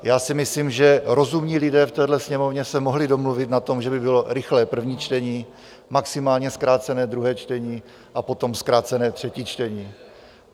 Já si myslím, že rozumní lidé v téhle Sněmovně se mohli domluvit na tom, že by bylo rychlé první čtení, maximálně zkrácené druhé čtení a potom zkrácené třetí čtení.